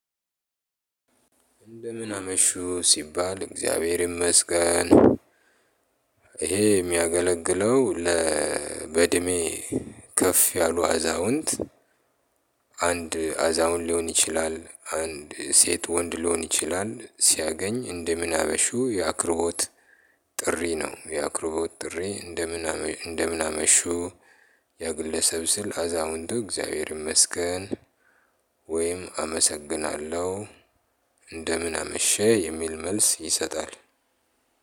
እንደምን አመሹ ሲባል እግዚአብሔር ይመስገን። ይሄ የሚያገለግለው ለ በእድሜ ከፍ ያሉ አዛውንት። አንድ አዛውንት ሊሆን ይችላል አንድ ሴት ወንድ ሊሆን ይችላል ሲያገኝ እንደምን አመሹ ያክብሮት። ጥሪ ነው ያክብሮት ጥሪ አንደምን እንደምን አመሹ። ያ ግለሰብ ሲል አዛውንቱ እግዚአብሔር ይመስገን። ወይም አመሰግናለሁ። አንደምን አመሸህ የሚል መልስ ይሰጣል።